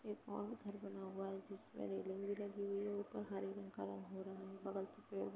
एक और घर बना हुआ है। जिसमे रेलिंग भी लगी हुई है। ऊपर हरे रंग का कलर हो रहा है। बगल से पेड़ भी --